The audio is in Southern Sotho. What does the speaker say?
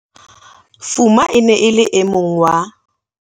Fuma e ne e le e mong wa